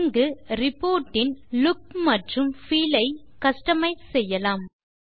இங்கு ரிப்போர்ட் இன் லூக் மற்றும் பீல் ஐ கஸ்டமைஸ் செய்யலாம்